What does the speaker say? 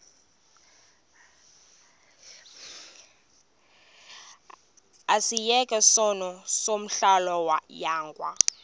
asiyeke sono smgohlwaywanga